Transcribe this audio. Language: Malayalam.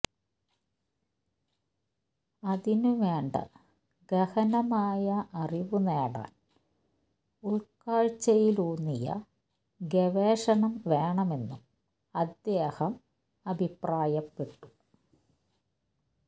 അതിനുവേണ്ട ഗഹനമായ അറിവ് നേടാൻ ഉൾക്കാഴ്ചയിലൂന്നിയ ഗവേഷണം വേണമെന്നും അദ്ദേഹം അഭിപ്രായപ്പെട്ടു